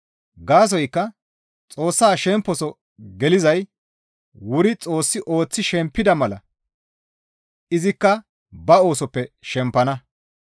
Gaasoykka Xoossa shemposo gelizay wuri Xoossi ooththi shempida mala izikka ba oosoppe shempana.